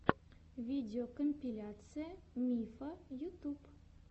видеокомпиляция мифа ютюб